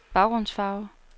baggrundsfarve